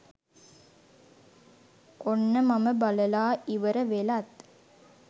ඔන්න මම බලලා ඉවර වෙලත්